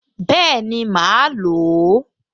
Bẹ́ẹ̀ni, màá lò ó